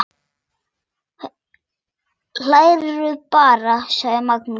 Hlæðu bara, sagði Magnús.